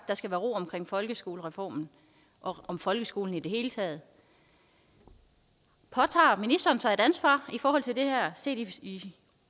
der skal være ro omkring folkeskolereformen og om folkeskolen i det hele taget påtager ministeren sig et ansvar i forhold til det her set i